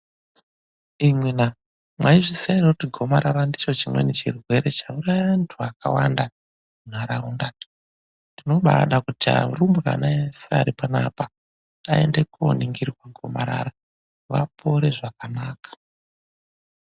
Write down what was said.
Imwina, mwaizviziya ere kuti gomarara ndicho chimweni chirwere chauraya vantu vakawanda munharaunda? Tinobaada kuti arumbwana eshe aripanapa aende kooningirwa gomarara, vapore zvakanaka.